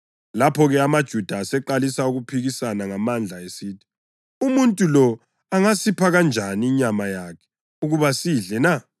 Lapho-ke, amaJuda aseqalisa ukuphikisana ngamandla esithi, “Umuntu lo angasipha kanjani inyama yakhe ukuba siyidle na?”